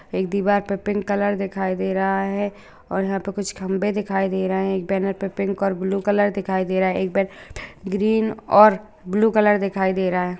एक दिवार पर पिंक कलर दिखाई दे रहा है और यहाँ पे कुछ खम्बे दिखाई दे रहे हैं एक बैनर पे पिंक और ब्लू कलर दिखाई दे रहा है एक पे ग्रीन और ब्लू कलर दिखाई दे रहा हैं।